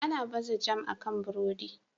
Ana baza jam akan burodi.